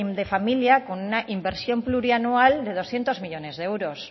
de familia con una inversión plurianual de doscientos millónes de euros